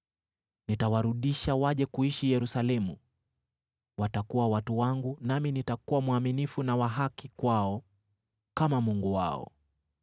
Nitawarudisha waje kuishi Yerusalemu, watakuwa watu wangu nami nitakuwa mwaminifu na wa haki kwao kama Mungu wao.”